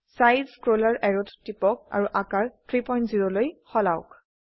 size scroller অ্যাৰোত টিপক আৰু আকাৰ 30লৈ সলাওক